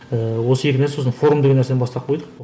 ііі осы екі нәрсе сосын форум деген нәрсені бастап қойдық